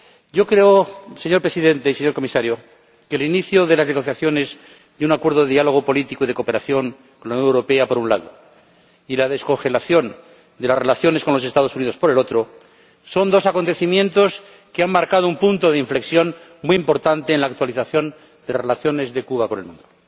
Yo creo, señor Presidente y señor Comisario, que el inicio de las negociaciones de un acuerdo de diálogo político y de cooperación con la Unión Europea, por un lado, y la descongelación de las relaciones con los Estados Unidos, por otro, son dos acontecimientos que han marcado un punto de inflexión muy importante en la actualización de las relaciones de Cuba con el mundo.